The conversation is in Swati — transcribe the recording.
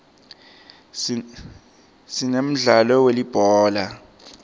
sinemdlalo welibhola